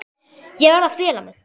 Ég verð að fela mig.